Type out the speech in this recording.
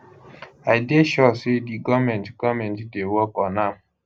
i dey sure say di goment goment dey work on am